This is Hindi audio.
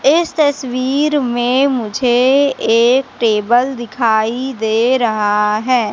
इस तस्वीर में मुझे एक टेबल दिखाई दे रहा है।